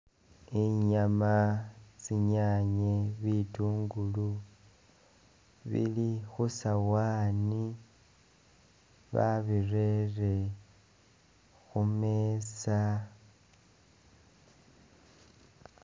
Inyama, tsinyanye, bitungulu bili khusawani babirere khumeza